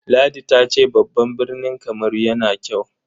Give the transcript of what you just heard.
Ladi ta ce babban birni Kamaru yana kyau.